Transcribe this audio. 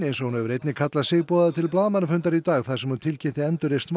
eins og hún hefur einnig kallað sig boðaði til blaðamannafundar í dag þar sem hún tilkynnti